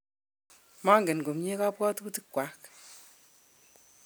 mangen komye kabwotutikwak